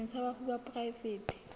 setsheng sa bafu sa poraefete